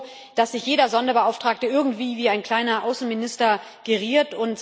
Ist es nicht so, dass sich jeder Sonderbeauftragte irgendwie wie ein kleiner Außenminister geriert.